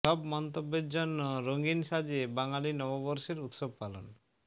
সব মন্তব্যের জন্য রঙ্গীন সাজে বাঙালির নববর্ষের উৎসব পালন